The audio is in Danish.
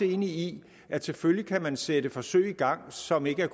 enig i at selvfølgelig kan man også sætte forsøg i gang som ikke